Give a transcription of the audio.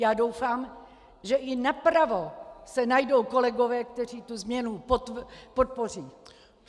Já doufám, že i napravo se najdou kolegové, kteří tu změnu podpoří!